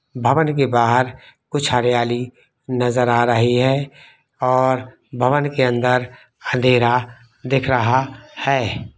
भवन के बाहर कुछ हरियाली नजर आ रही है और भवन के अंदर अंधेरा दिख रहा है।